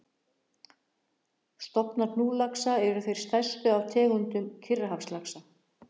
Stofnar hnúðlaxa eru þeir stærstu af tegundum Kyrrahafslaxa.